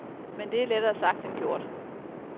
Men det er lettere sagt end gjort.